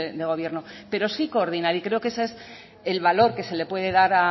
de gobierno pero sí coordinar y creo que es eso el valor que se le puede dar